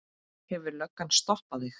Hefur löggan stoppað þig?